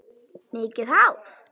Mikið hár.